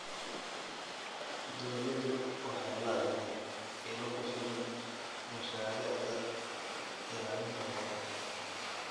Dawladdu waxay la'dahay ilo ku filan mashaariicda ilaalinta noolaha.